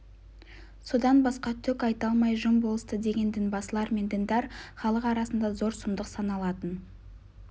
содан басқа түк айта алмай жым болысты деген дінбасылар мен діндар халық арасында зор сұмдық саналатын